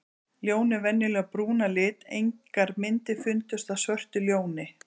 Ljón eru venjulega brún að lit, engar myndir fundust af svörtu ljóni.